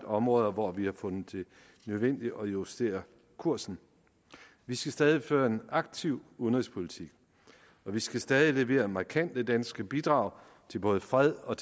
områder hvor vi har fundet det nødvendigt at justere kursen vi skal stadig føre en aktiv udenrigspolitik og vi skal stadig levere markante danske bidrag til både fred og